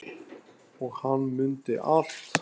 Og hann mundi allt.